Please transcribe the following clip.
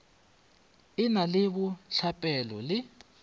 e na le bohlapelo le